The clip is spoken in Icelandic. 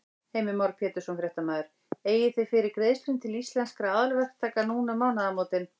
Heimir Már Pétursson, fréttamaður: Eigið þið fyrir greiðslum til Íslenskra aðalverktaka núna um mánaðamótin?